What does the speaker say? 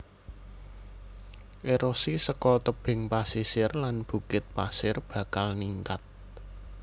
Erosi saka tebing pasisir lan bukit pasir bakal ningkat